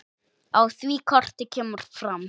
Á því korti kemur fram